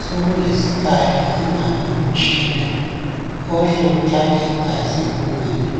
Sokulesikhali ingabe umtshina ohle uthatha igazi emunweni,